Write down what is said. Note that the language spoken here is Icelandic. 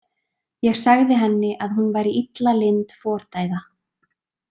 Ég sagði henni að hún væri illa lynd fordæða.